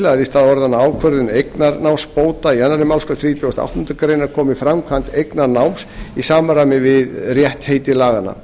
að í stað orðanna ákvörðun eignarnámsbóta í annarri málsgrein þrítugustu og áttundu grein komi framkvæmd eignarnáms í samræmi við rétt heiti laganna